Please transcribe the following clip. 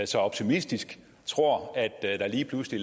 så optimistisk tror der lige pludselig